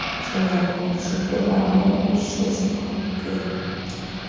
njengakumjikelo wewotshi esiphambukeni